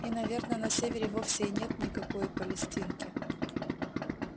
и наверно на севере вовсе и нет никакой палестинки